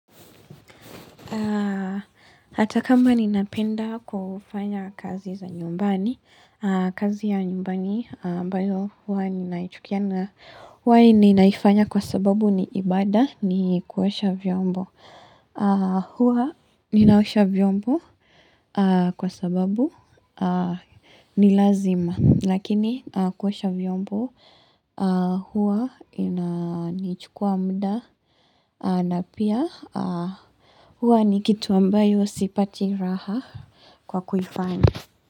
Ata kama ninapenda kufanya kazi za nyumbani, kazi ya nyumbani ambayo huwa ninaichukia na huwa ninaifanya kwa sababu ni ibada ni kuosha vyombo. Huwa ninaosha vyombo kwa sababu nilazima lakini kuosha vyombo huwa nichukua mda na pia huwa ni kitu ambayo sipati raha kwa kuifanya.